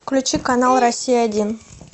включи канал россия один